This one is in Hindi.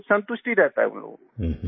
तो संतुष्टि रहता है उन लोगों को